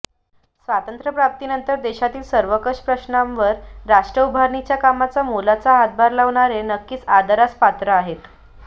स्वातंत्र्य प्राप्तीनंतर देशातील सर्वकष प्रश्नांवर राष्ट्र उभारणीच्या कामात मोलाचा हातभार लावणारे नक्कीच आदरास पात्र आहेत